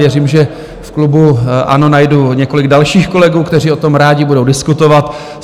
Věřím, že v klubu ANO najdu několik dalších kolegů, kteří o tom rádi budou diskutovat.